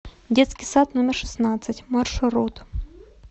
детский сад номер шестнадцать маршрут